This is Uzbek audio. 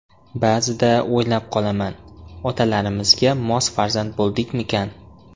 Ba’zida o‘ylab qolaman, otalarimizga mos farzand bo‘ldikmikan?